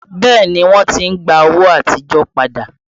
Bẹẹ ni, wọ́n ti ń gba owó àtijọ́ padà